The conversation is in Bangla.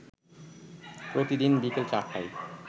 প্রতিদিন বিকেল ৪টায়